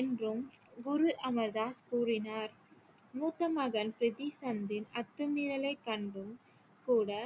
என்றும் குரு அமர்தாஸ் கூறினார் மூத்த மகன் பிரித்தி சந்திர் அத்துமீறலை கண்டும் கூட